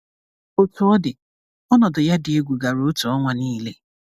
Otú ọ dị, ọnọdụ ya dị egwu gara otu ọnwa niile.